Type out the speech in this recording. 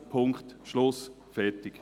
Punkt, Schluss, fertig!